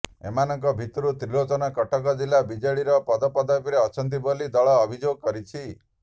ଏମାନଙ୍କ ଭିତରୁ ତ୍ରିଲୋଚନ କଟକ ଜିଲ୍ଲା ବିଜେଡିର ପଦପଦବୀରେ ଅଛନ୍ତି ବୋଲି ଦଳ ଅଭିଯୋଗ କରିଛି